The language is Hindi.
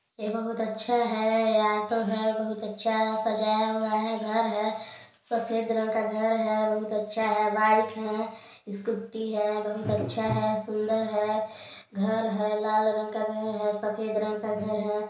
यह बहुत अच्छा है ऑटो है बहुत अच्छा सजाया हुआ है घर है सफेद रंग का घर हैबहुत अच्छा है बाइक है स्कूटी है बहुत अच्छा है सुन्दर है घर है लाल रंग का घर है सफ़ेद रंग का घर हैं।